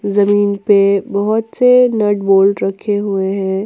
जमीन पे बहुत से नट बोल्ट रखे हुए हैं।